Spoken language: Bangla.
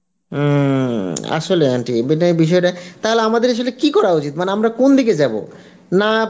উম আসলে aunty মানে এই বিষয় টা তাহলে আমাদের আসলে কি করা উচিত মানে আমরা কোন দিকে যাব না